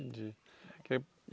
Entendi.